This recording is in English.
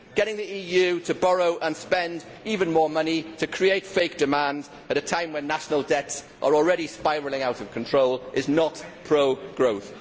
Getting the EU to borrow and spend even more money to create fake demand at a time when national debts are already spiralling out of control is not pro growth.